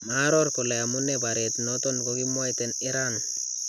Maaaror kole amunee bareet noton kokikimwaytaen iran .